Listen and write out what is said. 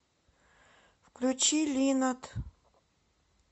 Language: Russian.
включи линад